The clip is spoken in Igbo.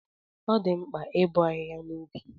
Ọ dị mkpa ibo ahịhịa n'ubi gị